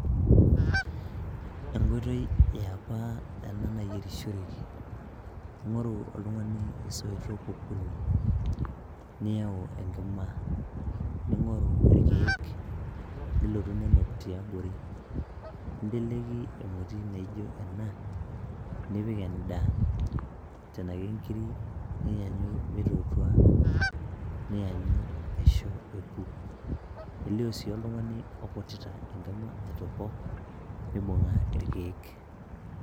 enkoitoi yiapa ena nayierishoreki ing'oru oltung'ani isoitok okuni niyau enkima ning'oru irkeek nilotu ninok tiabori ninteleki emoti naijo ena nipik endaa tena kenkiri niyanyu meitotua niyanyu aisho eku elio sii oltung'ani okutita enkima aitopok mibung'a irkeek.